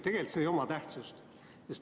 Tegelikult see ei oma tähtsust.